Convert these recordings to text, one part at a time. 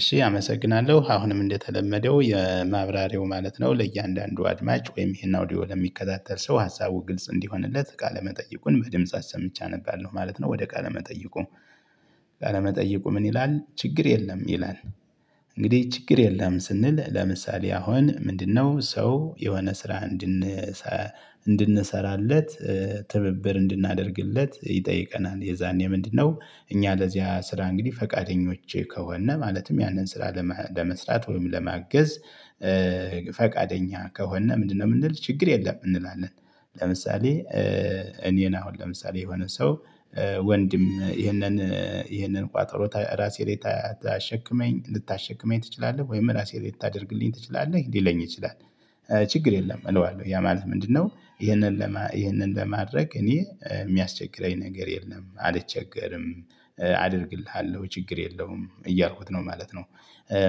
እሺ አመሰግናለሁ አሁንም እንደተለመደው የማብራሪያው ማለት ነው። ለእያንዳንዱ አድማጭ ወይም ይሄን አውዲዮ ለሚከታተል ሰው ሀሳቡ ግልጽ እንዲሆንለት ቃለ መጠየቁን በድምጽ አሰምቼ አነባለሁ ማለት ነው። ወደ ቃለ መጠይቁ ቃለ መጠይቁ ምን ይላል? ችግር የለም ይላል። እንግዲህ ችግር የለም ስንል ለምሳሌ አሁን ምንድነው? ሰው የሆነ ስራ እንድን እንድንሰራለት። ትብብር እንድናደርግለት ይጠይቀናል። የዛኔ ምንድነው? እኛ ለዚያ ስራ እንግዲህ ፈቃደኞች ከሆነን ማለትም ያንን ስራ ለመስራት ወይም ለማገዝ። ፈቃደኛ ከሆነን ምንድነው? የምንል ችግር የለም እንላለን። ለምሳሌ እኔን አሁን ለምሳሌ የሆነ ሰው ወንድም ይሄንን ይሄንን ቋጠሮ ራሴ ላይ ታሸክመኝ ልታሸክመኝ ትችላለህ ወይም ራሴ ልታደርግልኝ ትችላለህ ሊለኝ ይችላል። ችግር የለም እለዋለሁ ያ ማለት ምንድነው? ይህንን ለማድረግ በማድረግ እኔ የሚያስቸግረኝ ነገር የለም አልቸገርም አደርግልሃለሁ ችግር የለውም እያልኩት ነው ማለት ነው።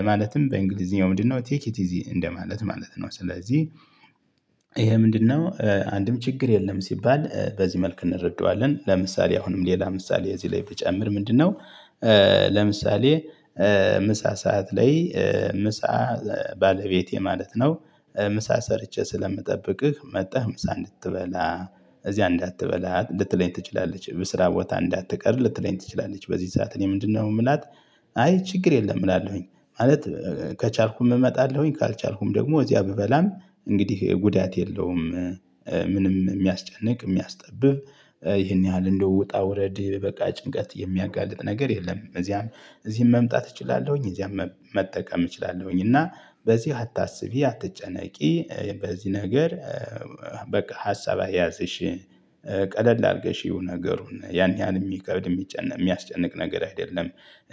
ማለትም በእንግሊዝኛው ምንድነው? ቴክ ኢት ኢዚ እንደማለት ማለት ነው። ስለዚህ ይሄ ምንድነው? አንድም ችግር የለም ሲባል በዚህ መልክ እንረደዋለን። ለምሳሌ አሁንም ሌላ ምሳሌ እዚህ ላይ ብጨምር ምንድነው? ለምሳሌ ምሳ ሰዓት ላይ ምሳ ባለቤቴ ማለት ነው። ምሳ ሰርቼ ስለምጠብቅህ መጥተህ ምሳ እንድትበላ እዚያ እንዳትበላ ሊትለኝ ትችላለች ብስራ ቦታ እንዳትቀር ልትለኝ ትችላለች በዚህ ስዓት እኔ ምንድነው የምላት? አይ ችግር የለም እላለሁኝ ማለት ከቻልኩም እመጣለሁኝ ካልቻልኩም ደግሞ እዚያ ብበላም እንግዲህ ጉዳት የለውም። ምንም የሚያስጨንቅ የሚያስጠብብ ይሄን ያህል እንደ ውጣ ውረድ በቃ ጭንቀት የሚያጋልጥ ነገር የለም። እዚያም እዚህም መምጣት እችላለሁኝ እዚያም መጠቀም እችላለሁኝ። እና በዚህ አታስቢ አትጨነቂ በዚህ ነገር በቃ ሀሳብ አይያዝሽ ቀለል አድርገሽ የሆነ ነገሩን ያን ያህል የሚከብድ የሚጨነቅ የሚያስጨንቅ ነገር አይደለም።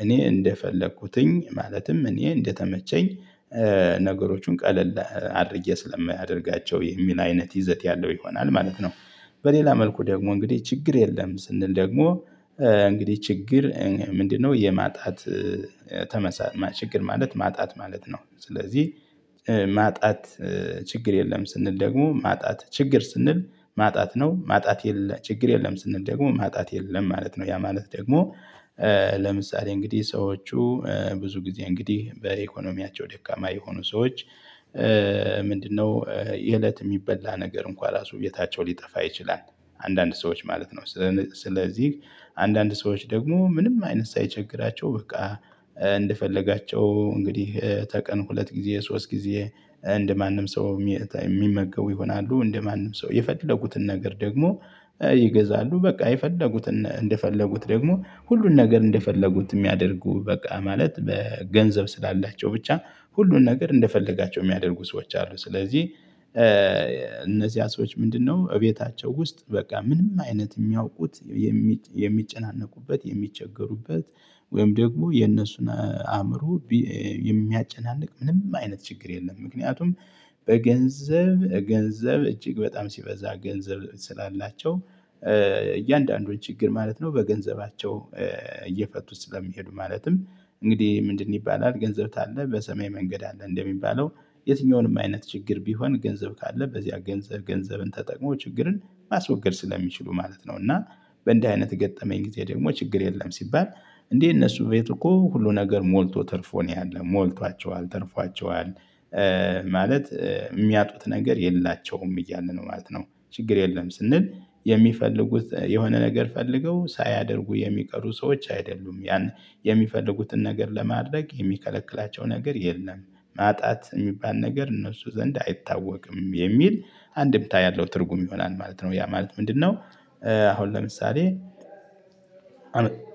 እኔ እንደፈለኩትኝ ማለትም እኔ እንደተመቸኝ። ነገሮቹን ቀለል አድርጌ ስለሚያደርጋቸው የሚል አይነት ይዘት ያለው ይሆናል ማለት ነው። በሌላ መልኩ ደግሞ እንግዲህ ችግር የለም ስንል ደግሞ። እንግዲህ ችግር ምንድነው? የማጣት ችግር ማለት ማጣት ማለት ነው። ስለዚህ ማጣት ችግር የለም። ስንል ደግሞ ማጣት ችግር ስንል ማጣት ነው ማጣት የለም ችግር የለም ስንል ደግሞ ማጣት የለም ማለት ነው። ያ ማለት ደግሞ። ለምሳሌ እንግዲህ ሰዎቹ ብዙ ጊዜ እንግዲህ በኢኮኖሚያቸው ደካማ የሆኑ ሰዎች ምንድነው? የእለት የሚበላ ነገር እንኳን ራሱ ቤታቸው ሊጠፋ ይችላል። አንዳንድ ሰዎች ማለት ነው። ስለዚህ አንዳንድ ሰዎች ደግሞ ምንም አይነት ሳይቸግራቸው በቃ እንደፈለጋቸው እንግዲህ ተቀን ሁለት ጊዜ ሶስት ጊዜ እንደማንም ሰው የሚመገቡ ይሆናሉ። እንደማንም ሰው የፈለጉትን ነገር ደግሞ ይገዛሉ በቃ የፈለጉት እንደፈለጉት ደግሞ ሁሉን ነገር እንደፈለጉት የሚያደርጉ በቃ ማለት በገንዘብ ስላላቸው ብቻ ሁሉን ነገር እንደፈለጋቸው የሚያደርጉ ሰዎች አሉ። ስለዚህ እነዚህ ሰዎች ምንድነው? እቤታቸው ውስጥ በቃ ምንም አይነት የሚያውቁት የሚጨናነቁበት የሚቸገሩበት ወይም ደግሞ የነሱን አእምሮ የሚያጨናንቅ ምንም አይነት ችግር የለም። ምክንያቱም በገንዘብ ገንዘብ እጅግ በጣም ሲበዛ ገንዘብ ስላላቸው እያንዳንዱን ችግር ማለት ነው። በገንዘባቸው እየፈቱት ስለሚሄዱ ማለትም እንግዲህ ምንድን ይባላል ገንዘብ ታለ በሰማይ መንገድ አለ እንደሚባለው። የትኛውንም አይነት ችግር ቢሆን ገንዘብ ካለ በዚያ ገንዘብ ገንዘብን ተጠቅሞ ችግርን ማስወገድ ስለሚችሉ ማለት ነው። እና በእንደዚህ አይነት ገጠመኝ ጊዜ ደግሞ ችግር የለም። ሲባል እንዴ እነሱ ቤቱ እኮ ሁሉ ነገር ሞልቶ ተርፎ ነው ያለው ሞልቷቸዋል ትርፏቸዋል። ማለት የሚያጡት ነገር የላቸውም እያልን ነው ማለት ነው። ችግር የለም ስንል የሚፈልጉት የሆነ ነገር ፈልገው ሳያደርጉ የሚቀሩ ሰዎች አይደሉም ያን የሚፈልጉትን ነገር ለማድረግ የሚከለክላቸው ነገር የለም። ማጣት የሚባል ነገር እነሱ ዘንድ አይታወቅም የሚል አንድምታ ያለው ትርጉም ይሆናል ማለት ነው። ያ ማለት ምንድነው? አሁን ለምሳሌ